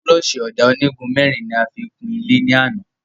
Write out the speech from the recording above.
Búrọ̀ṣì Ọ̀dà onígun mẹ́rin ni a fi kun ilé ní àná